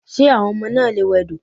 Ṣé àwọn ọmọ náà lè wẹdò?